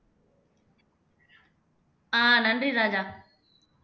ஆஹ் நன்றி ராஜா